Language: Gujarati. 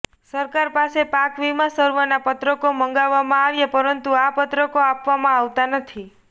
સરકાર પાસે પાક વીમા સર્વેના પત્રકો માગવામાં આવ્યા પરંતુ આ પત્રકો આપવામાં આવતા નથી